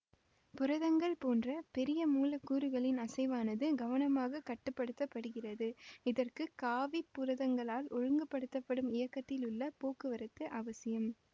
புரதங்கள் போன்ற பெரிய மூலக்கூறுகளின் அசைவானது கவனமாக கட்டு படுத்த படுகிறது இதற்கு காவிப் புரதங்களால் ஒழுங்குபடுத்தப்படும் இயக்கத்திலுள்ள போக்குவரத்து அவசியம்